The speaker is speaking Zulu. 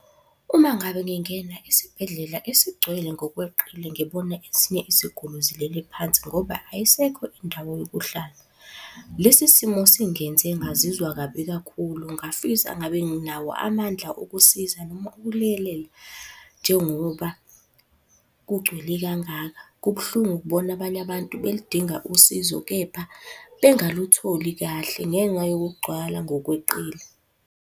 Uma ngabe ngingena esibhedlela esigcwele ngokweqile ngibona esinye isiguli zilele phansi ngoba ayisekho indawo yokuhlala. Lesi simo singenze ngazizwa kabi kakhulu ngafisa ngabe nginawo amandla okusiza noma ukulekelela njengoba kugcwele kangaka. Kubuhlungu ukubona abanye abantu beludinga usizo, kepha bengalutholi kahle ngenxa yokugcwala ngokweqile.